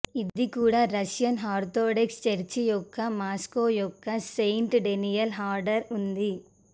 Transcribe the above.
ఇది కూడా Russian Orthodox church యొక్క మాస్కో యొక్క సెయింట్ డేనియల్ ఆర్డర్ ఉంది